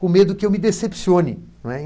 com medo que eu me decepcione não é.